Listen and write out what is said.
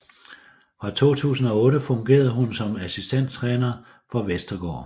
Fra 2008 fungerede hun som assistenttræner for Vestergaard